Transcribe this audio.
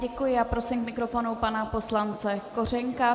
Děkuji a prosím k mikrofonu pana poslance Kořenka.